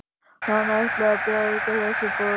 Hann ætlaði að bjarga þessari borg